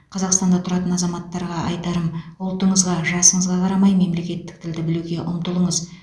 қазақстанда тұратын азаматтарға айтарым ұлтыңызға жасыңызға қарамай мемлекеттік тілді білуге ұмтылыңыз